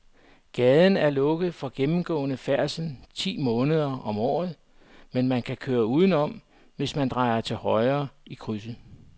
Gaden er lukket for gennemgående færdsel ti måneder om året, men man kan køre udenom, hvis man drejer til højre i krydset.